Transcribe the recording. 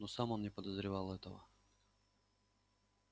но сам он не подозревал этого